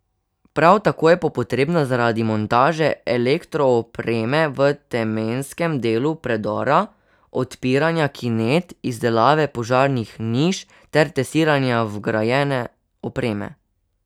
Prav tako je po potrebna zaradi montaže elektroopreme v temenskem delu predora, odpiranja kinet, izdelave požarnih niš ter testiranja vgrajene opreme.